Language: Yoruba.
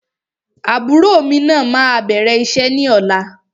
Àbúrò mí máa bẹ̀rẹ̀ iṣẹ́ ní ọ̀la.